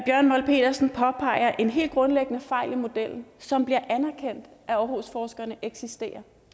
bjørn molt petersen påpeger en helt grundlæggende fejl i modellen som det bliver anerkendt af aarhusforskerne eksisterer